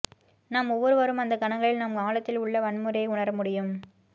நாம் ஒவ்வொருவரும் அந்த கணங்களில் நம் ஆழத்தில் உள்ள வன்முறையை உணர முடியும்